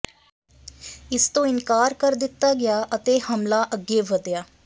ਇਸ ਤੋਂ ਇਨਕਾਰ ਕਰ ਦਿੱਤਾ ਗਿਆ ਅਤੇ ਹਮਲਾ ਅੱਗੇ ਵਧਿਆ